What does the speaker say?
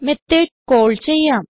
method call ചെയ്യാം